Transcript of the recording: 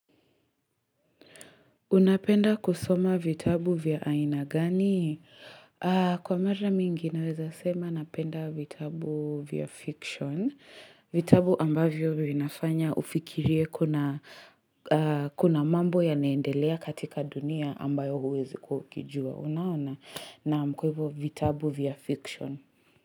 Unapenda kusoma vitabu vya aina gani? Kwa mara mingi naweza sema napenda vitabu vya fiction. Vitabu ambavyo vinafanya ufikirie kuna mambo yanaendelea katika dunia ambayo huwezi kukijua. Unaona, naam, kwa hivyo vitabu vya fiction.